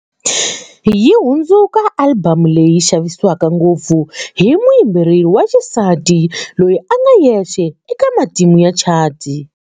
Yi hundzuka alibamu leyi xavisiwaka ngopfu hi muyimbeleri wa xisati loyi a nga yexe eka matimu ya chati.